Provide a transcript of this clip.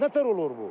Nə təhər olur bu?